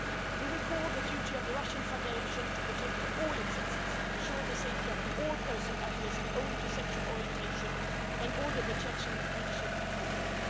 We recall the duty of the Russian Federation to protect all its citizens, ensure the safety of all persons at risk owing to sexual orientation and order the Chechen leadership accordingly.